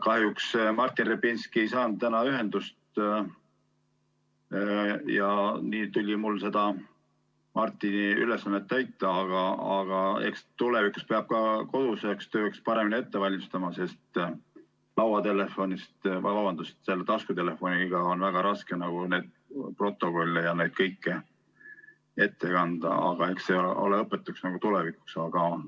Kahjuks Martin Repinski ei saanud täna ühendust ja nii tuli mul seda Martini ülesannet täita, aga eks tulevikus peab ka koduseks tööks paremini ette valmistama, sest taskutelefoniga on väga raske neid protokolle ja kõike ette kanda, aga eks see ole õpetus tulevikuks.